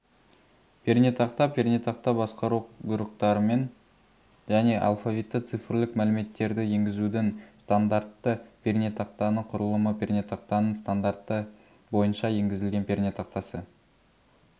пернетақта пернетақта басқару бұйрықтарымен және алфавитті-цифрлік мәліметтерді енгізудің стандартты пернетақтаны құрылымы пернетақтаның стандарты бойынша енгізілген пернетақтасы